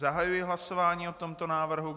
Zahajuji hlasování o tomto návrhu.